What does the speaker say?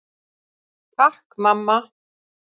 Takk mamma.